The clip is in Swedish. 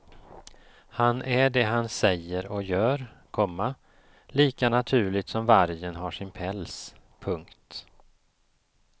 Han är det han säger och gör, komma lika naturligt som vargen har sin päls. punkt